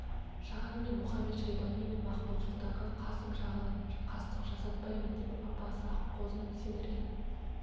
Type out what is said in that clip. жаған да мұхамед-шайбани мен махмуд-сұлтанға қасым жағынан қастық жасатпаймын деп апасы аққозыны сендірген